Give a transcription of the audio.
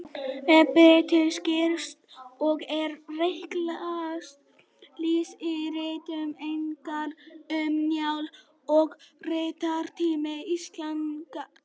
Aðferðin birtist skýrast og er rækilegast lýst í ritum Einars, Um Njálu og Ritunartími Íslendingasagna.